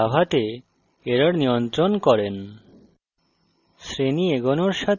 এইভাবে আপনি java তে errors নিয়ন্ত্রণ করেন